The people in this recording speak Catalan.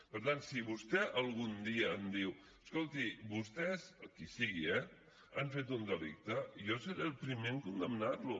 per tant si vostè algun dia em diu escolti vostès qui sigui eh han fet un delicte jo seré el primer en condemnar lo